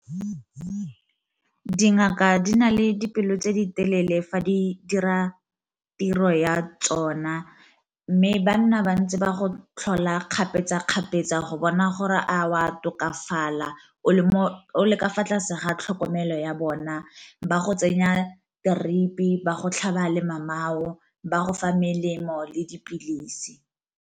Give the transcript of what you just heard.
Dingaka di na le dipelo tse di telele fa di dira tiro ya tsona, mme ba nna bantse ba go tlhola kgapetsa-kgapetsa go bona gore a wa tokafala o le mo le ka fa tlase ga tlhokomelo ya bona ba go tsenya drip ba botlhaba le mamao ba go fa melemo le dipilisi.